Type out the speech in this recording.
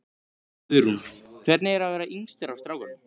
Guðrún: Hvernig er að vera yngstur af strákunum?